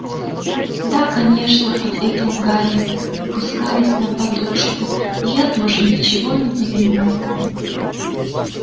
да конечно ответил гарри опускаясь на подушку я тоже ничего не понимаю